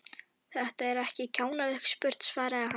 Þetta er ekki kjánalega spurt svaraði hann.